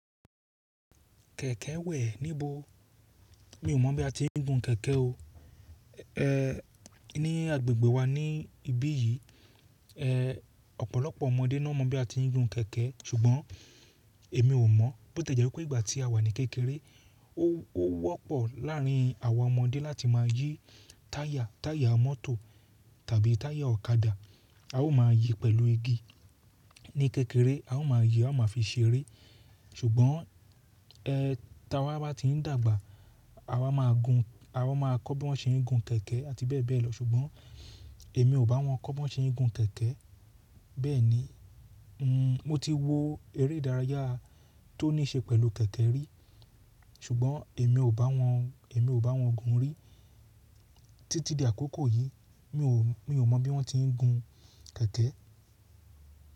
Kẹ̀kẹ́ wẹ̀ níbo? Mi ò mọ̀ bí a ti ń gun kẹ̀kẹ́ o. E, ní agbègbè wa ní ibí yìí, e, ọ̀pọ̀lọpọ̀ ọmọdé náà mọ bí a ti ń gun kẹ̀kẹ́ ṣùgbọ́n èmi ò mọ̀. Bó ti e jẹ́ pé ìgbà tí a wà ní kékeré ó wọ́pọ̀ láàrín àwọn ọmọdé láti máa yí táyà, táyà mọ́tò tàbí táyà ọ̀kadà. A ó máa yí pẹ̀lú igi. Ní kékeré a ó máa yí, a ó máa fi ṣeré. Ṣùgbọ́n, e, táwa bá ti ń dàgbà, àwa máa gun, àwa máa kọ́ bí wọ́n ṣe ń gun kẹ̀kẹ́ àti bẹ́ẹ̀ bẹ́ẹ̀ lọ. Ṣùgbọ́n èmi ò bá wọn kọ́ bí wọ́n ṣe ń gun kẹ̀kẹ́. Bẹ́ẹ̀ ni, n, mo ti wo eré ìdárayá tó ní ṣe pẹ̀lú kẹ̀kẹ́ rí. Ṣùgbọ́n èmi ò bá wọn, èmi ò bá wọn gun rí. Títí di àkókò yìí mi ò, mi ò mọ bí wọ́n ti ń gun kẹ̀kẹ́.